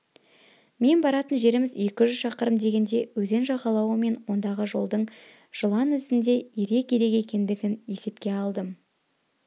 мен баратын жеріміз екі жүз шақырым дегенде өзен жағалауы мен ондағы жолдың жылан ізіндей ирек-ирек екендігін есепке алдым